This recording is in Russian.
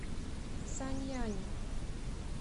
саньяни